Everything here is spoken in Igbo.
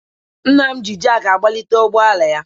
Nna m ji jakị agbalite ụgbọala ya.